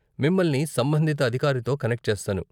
మిమ్మల్ని సంబంధిత అధికారితో కనెక్ట్ చేస్తాను.